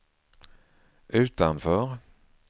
utanför